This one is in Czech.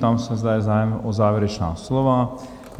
Ptám se, zda je zájem o závěrečná slova?